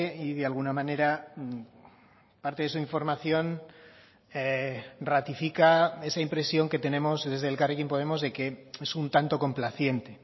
y de alguna manera parte de su información ratifica esa impresión que tenemos desde elkarrekin podemos de que es un tanto complaciente